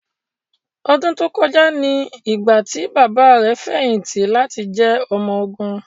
Ọdún tó kọjá ni ìgbà tí bàbá rẹ̀ fẹ̀yìntì láti jẹ́ ọmọ ogun.